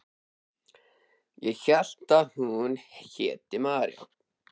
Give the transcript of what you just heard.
Ég hélt að hún héti María.